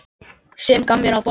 Sem gaf mér að borða.